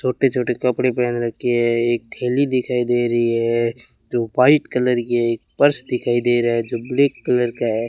छोटे छोटे कपड़े पहन रखी है एक थैली दिखाई दे रही है जो वाइट कलर की एक पर्स दिखाई दे रहा है जो ब्लैक कलर का है।